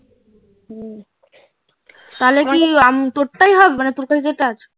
তাহলে কি করতেই হবে তোর কাছে যেটা আছে